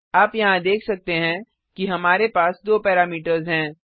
आप यहाँ देख सकते हैं कि हमारे पास दो पैरामीटर्स हैं